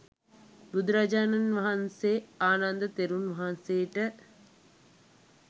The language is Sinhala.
බුදුරජාණන් වහන්සේ ආනන්ද තෙරුන් වහන්සේට